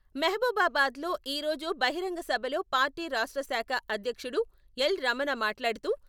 మహబూబాబాద్ లో ఈరోజు బహిరంగసభలో పార్టీ రాష్ట్రశాఖ అధ్యక్షుడు ఎల్.రమణ మాట్లాడుతూ...